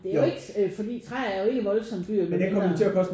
Det er jo ikke fordi træ er jo ikke voldsomt dyrt med mindre